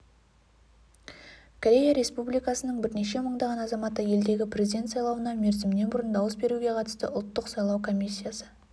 корея республикасының бірнеше мыңдаған азаматы елдегі президент сайлауына мерзімінен бұрын дауыс беруге қатысты ұлттық сайлау комиссиясы